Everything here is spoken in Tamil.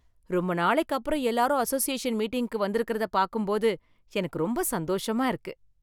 ரொம்ப நாளைக்கு அப்புறம் எல்லாரும் அசோசியேஷன் மீட்டிங்குக்கு வந்திருக்கிறத பாக்கும்போது எனக்கு ரொம்ப சந்தோஷமா இருக்கு